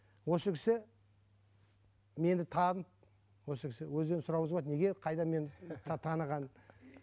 осы кісі мені танып осы кісі өзінен сұрауыңызға болады неге қайда мені таныған